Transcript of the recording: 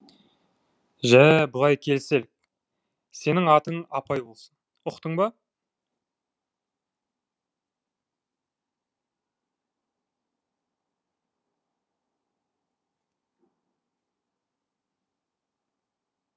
жә былай келіселік сенің атың апай болсын ұқтың ба